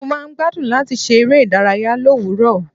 Mo máa ń gbádùn láti ṣe eré ìdárayá l'òwúrò.